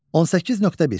18.1.